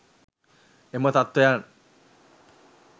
එම තත්වයන්